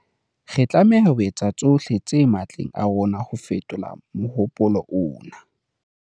Re tlameha ho etsa tsohle tse matleng a rona ho fetola mohopolo ona.